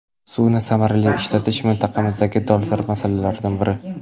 Suvni samarali ishlatish mintaqamizdagi dolzarb masalalardan biri.